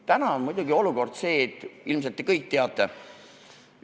Täna on muidugi olukord selline, mida te ilmselt kõik teate.